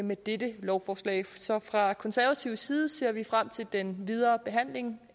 med dette lovforslag så fra konservativ side ser vi frem til den videre behandling